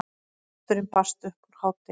Pósturinn barst upp úr hádegi.